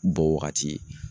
Bɔ waagati ye.